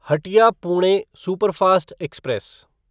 Hatia Pune superfast express